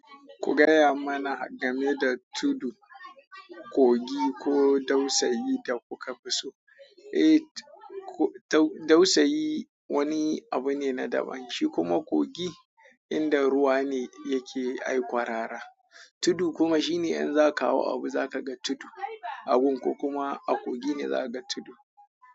Ku gaya mana game da tudu, kogi ko dausayi da kuka fi so. Eh, dausayi wani abu ne na daban, shi kuma kogi inda ruwa ne yake ai ƙwarara. Tudu kuma shine in za ka hau abu za ka ga tudu, a gun ko kuma a kogi ne za ka ga tudu.